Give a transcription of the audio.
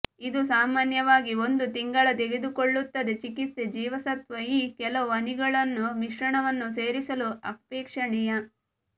ಇದು ಸಾಮಾನ್ಯವಾಗಿ ಒಂದು ತಿಂಗಳ ತೆಗೆದುಕೊಳ್ಳುತ್ತದೆ ಚಿಕಿತ್ಸೆ ಜೀವಸತ್ವ ಇ ಕೆಲವು ಹನಿಗಳನ್ನು ಮಿಶ್ರಣವನ್ನು ಸೇರಿಸಲು ಅಪೇಕ್ಷಣೀಯ